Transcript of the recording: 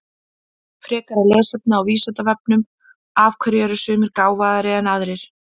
Frekara lesefni á Vísindavefnum Af hverju eru sumir gáfaðri en aðrir?